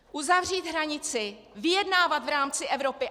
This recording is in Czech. Uzavřít hranici, vyjednávat v rámci Evropy.